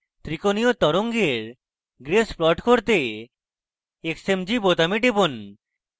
ত্রিকোণীয় তরঙ্গের grace plot দেখতে xmg বোতামে টিপুন